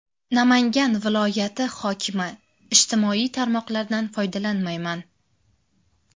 Namangan viloyati hokimi: Ijtimoiy tarmoqlardan foydalanmayman .